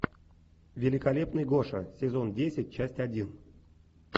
великолепный гоша сезон десять часть один